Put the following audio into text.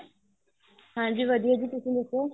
ਹਾਂਜੀ ਵਧੀਆ ਜੀ ਤੁਸੀਂ ਦੱਸੋ